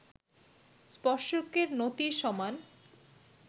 স্পর্শকের নতির সমান